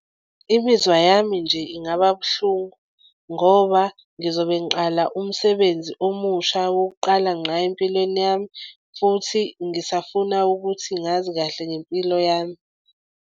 Imizwa yami nje ingaba buhlungu ngoba ngizobe ngiqala umsebenzi omusha wokuqala ngqa empilweni yami futhi ngisafuna ukuthi ngazi kahle ngempilo yami.